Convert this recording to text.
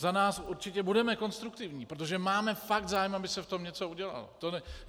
Za nás určitě budeme konstruktivní, protože máme fakt zájem, aby se v tom něco udělalo.